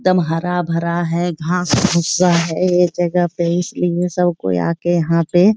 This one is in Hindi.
एकदम हरा-भरा है घास भूसा है ये जगह पे इसलिए सब कोई आके यहाँ पे --